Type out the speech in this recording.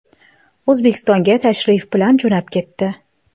O‘zbekistonga tashrif bilan jo‘nab ketdi.